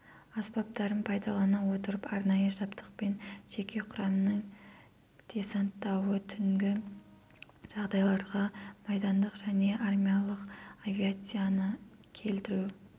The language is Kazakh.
аспаптарын пайдалана отырып арнайы жабдықпен жеке құрамның десанттауы түнгі жағдайларда майдандық және армиялық авиацияны келтіру